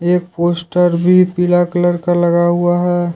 एक पोस्टर भी पीला कलर का लगा हुआ है।